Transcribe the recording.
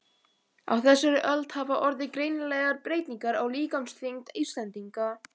Á þessari öld hafa orðið greinilegar breytingar á líkamsþyngd Íslendinga.